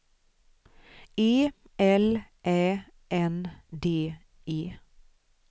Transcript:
E L Ä N D E